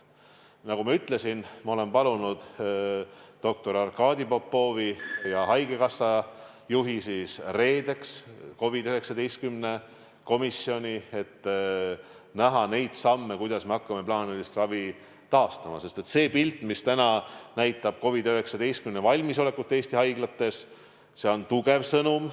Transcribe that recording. Ma olen palunud doktor Arkadi Popovi ja haigekassa juhi reedeks COVID-19 komisjoni, et arutada neid samme, kuidas me hakkame plaanilist ravi taastama, sest see pilt, mis täna näitab COVID-19 suhtes valmisolekut Eesti haiglates, on tugev sõnum.